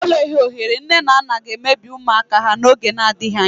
Enweghị ohere nne na nna ga-emebi ụmụaka ha n'oge n'adịghị anya.